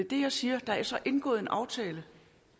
det jeg siger der er så indgået en aftale